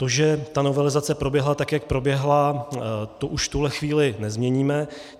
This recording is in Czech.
To, že ta novelizace proběhla, tak jak proběhla, to už v tuto chvíli nezměníme.